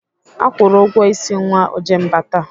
Akwụru ụgwọ ịsị nwa Ojemba taa.